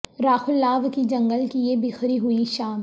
راکھ الاو کی جنگل کی یہ بکھری ہوئی شام